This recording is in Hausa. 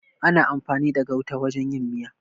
Ana amfani da gauta wajen yin miya.